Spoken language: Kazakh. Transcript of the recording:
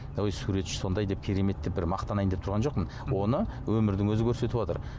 ой суретші сондай деп керемет деп бір мақтанайын деп түрған жоқпын оны өмірдің өзі көрсетіпватыр